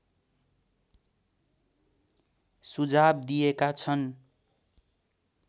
सुझाव दिएका छन्